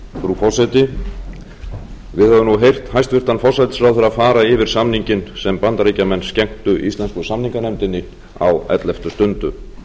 frú forseti við höfum nú heyrt hæstvirtan forsætisráðherra fara yfir samninginn sem bandaríkjamenn skenktu íslensku samninganefndinni á elleftu stundu það